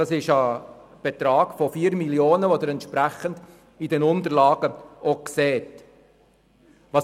Dabei geht es um einen Betrag von 4 Mio. Franken, der in den Unterlagen entsprechend ausgewiesen wird.